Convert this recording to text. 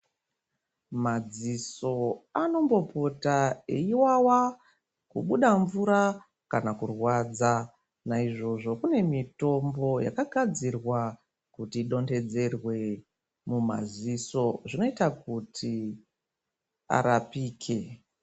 Madziso anombopota eiwawa kubuda mvura kana kurwadza naizvozvo kune mitombo yakagadzirwa kuti idonthedzerwe mumadziso zvinoita kuti arapike.